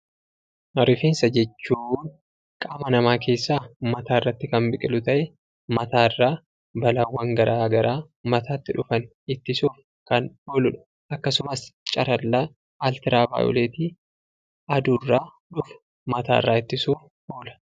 Rifeensa jechuun qaama namaa keessaa mataarratti kan biqilu ta'ee mataarraa balaawwan garaa garaa mataatti dhufan ittisuuf kan ooludha. Akkasumas carallaa altiraavaayoleetii aduurraa dhufu mataarraa ittisuuf oola.